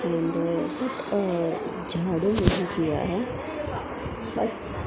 झाड़ू नहीं किया है बस--